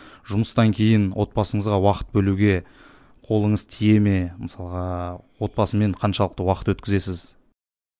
жұмыстан кейін отбасыңызға уақыт бөлуге қолыңыз тие ме мысалға отбасымен қаншалықты уақыт өткізесіз